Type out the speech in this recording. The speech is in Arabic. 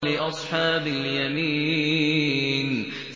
لِّأَصْحَابِ الْيَمِينِ